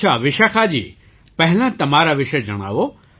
અચ્છા વિશાખાજી પહેલાં તમારા વિશે જણાવો